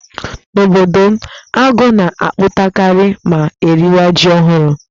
N'obodo m, agụ́ na-apụtakarị ma eriwa ji ọhụrụ.